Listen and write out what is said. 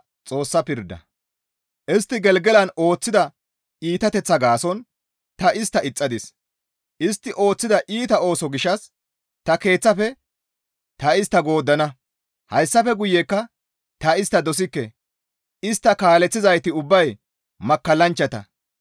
«Istti Gelgelan ooththida iitateththaa gaason ta istta ixxadis; istti ooththida iita ooso gishshas ta keeththafe ta istta gooddana; hayssafe guyekka ta istta dosikke; istta kaaleththizayti ubbay makkallanchchata.